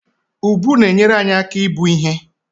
Ùbù na-enyere anyị aka ibu ihe